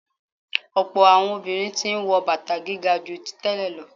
Ọ̀pọ̀ àwọn obìnrin tí ń wọ bàtà gíga ju tí tẹ́lẹ̀ lọ.